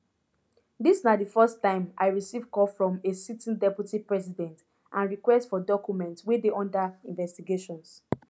dis na di first time i receive call from from a sitting deputy president and request for documents wey dey under investigations